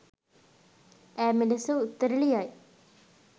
ඈ මෙලෙස උත්තර ලියයි.